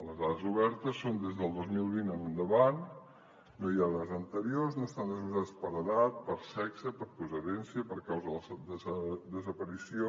les dades obertes són del dos mil vint en endavant no hi ha dades anteriors no estan desglossades per edat per sexe per procedència per causa de desaparició